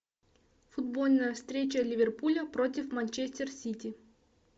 футбольная встреча ливерпуля против манчестер сити